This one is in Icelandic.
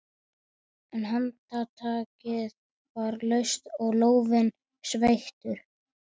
En handtakið var laust og lófinn sveittur.